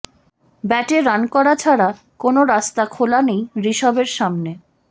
ব্যাটে রান করা ছাড়া কোনও রাস্তা খোলা নেই ঋষভের সামনে